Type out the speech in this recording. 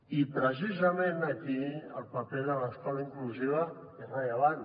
i precisament aquí el paper de l’escola inclusiva és rellevant